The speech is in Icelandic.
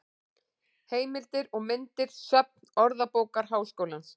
Heimildir og myndir: Söfn Orðabókar Háskólans.